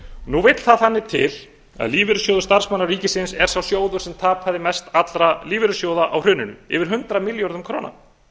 nú vill þannig til að lífeyrissjóður starfsmanna ríkisins er sá sjóður sem tapaði mest allra lífeyrissjóða á hruninu yfir hundrað milljörðum króna